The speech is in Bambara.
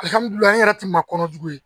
n yɛrɛ tun kɔnɔ jugu ye